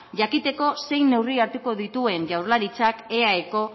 jakiteko zein neurri hartuko dituen jaurlaritzak eaeko